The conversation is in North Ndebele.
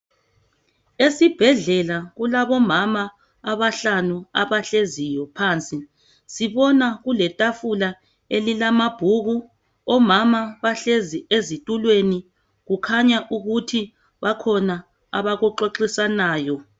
Esibhedlela kulabomama abahlanu abahleziyo phansi sibona kuletafula elilamabhuku omama bahlezi ezitulweni kukhanya ukuthi bakhona abakuxoxisanayo.